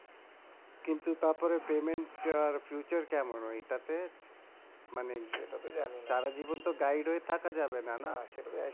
কিন্তু তারপরেও আর কেমন ঐটাতে মানে বিষয়টা যেটা সারা জীবনতো হয়ে থাকা যাবে না না